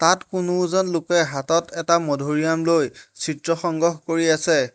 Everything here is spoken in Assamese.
ইয়াত কোনো এজন লোকে হাতত এটা মধুৰীআম লৈ চিত্ৰ সংগ্ৰহ কৰি আছে।